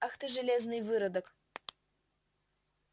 ах ты железный выродок